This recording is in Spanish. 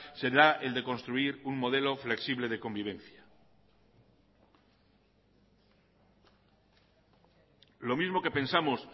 será el de construir un modelo flexible de convivencia lo mismo que pensamos